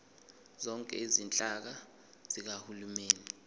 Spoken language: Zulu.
zonke izinhlaka zikahulumeni